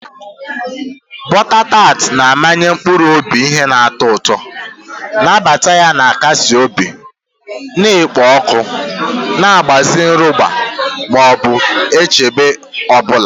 Butter tart na-amanye mkpụrụ obi ihe na-atọ ụtọ, nnabata ya na-akasi obi na-ekpo ọkụ na-agbaze nrụgide ma ọ bụ nchegbu ọ bụla.